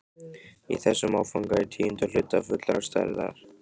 Í þessum áfanga í tíunda hluta fullrar stærðar.